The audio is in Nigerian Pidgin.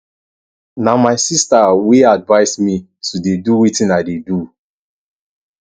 na my sister wey advice me to dey do wetin i dey do